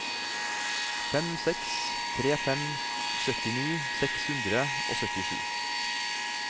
fem seks tre fem syttini seks hundre og syttisju